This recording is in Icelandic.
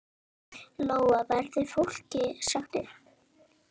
Lóa: Verður fólki sagt upp?